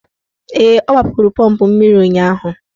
Ee, ọ gbapụrụ pọmpụ mmiri ụnyaahụ.